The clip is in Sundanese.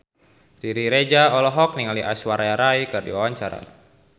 Riri Reza olohok ningali Aishwarya Rai keur diwawancara